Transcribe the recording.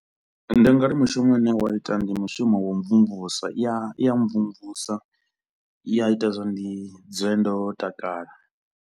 Ndi nga ri mushumo une wa ita ndi mushumo wa u mvumvusa i ya i ya mvumvusa i ya ita zwa ndi dzule ndo takala.